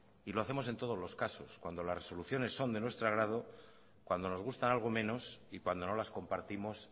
y lo hacemos en todos los casos cuando las resoluciones son de nuestro agrado cuando nos gustan algo menos y cuando no las compartimos